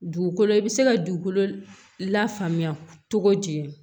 Dugukolo i bɛ se ka dugukolo lafaamuya cogo di